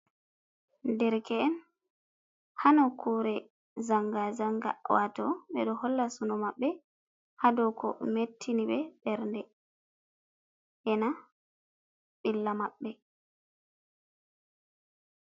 Derke'en ha nokkure zanga zanga, wato ɓeɗo holla suno maɓɓe ha dauko mettini ɓe bernde ena ɓilla maɓɓe.